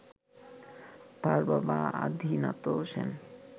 তার বাবা আদিনাথ সেন